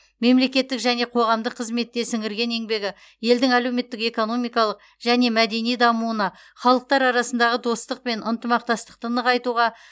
мемлекеттік және қоғамдық қызметте сіңірген еңбегі елдің әлеуметтік экономикалық және мәдени дамуына халықтар арасындағы достық пен ынтымақтастықты нығайтуға